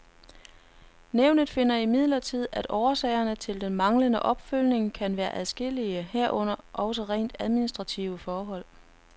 Nævnet finder imidlertid, at årsagerne til den manglende opfølgning kan være adskillige, herunder også rent administrative forhold.